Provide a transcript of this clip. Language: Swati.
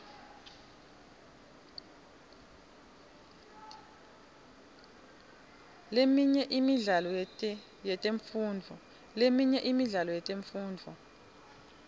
leminye imidlalo yetemfundvo